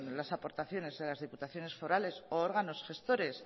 las aportaciones de las diputaciones forales o órganos gestores